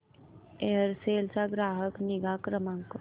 Aircel चा ग्राहक निगा क्रमांक